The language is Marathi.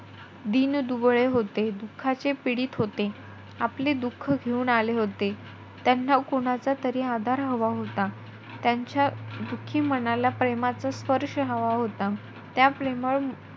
दीनदुबळे होते. दुःखाचे पीडित होते. आपले दुःख घेऊन आले होते. त्यांना कोणाचा तरी आधार हवा होता. त्यांच्या दुखी मनाला प्रेमाचा स्पर्श हवा होता. त्या प्रेमळ,